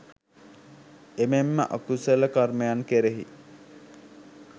එමෙන්ම අකුසල කර්මයන් කෙරෙහි